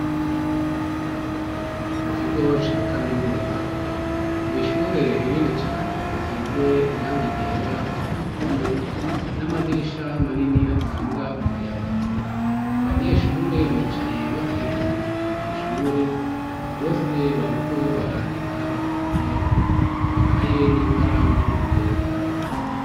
Mu kigo ca kaminuza mw'ishure rinini cane risize irangi ryera ku ruhome n'amadirisha manini atanga umuyaga. Abanyeshure bicaye bakikuje mw'ishure bose bariko barandika bafise amakaye n'ikaramu imbere yabo.